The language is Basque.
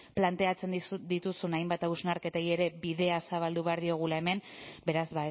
planteatzen dituzun hainbat hausnarketei ere bidea zabaldu behar diogula hemen beraz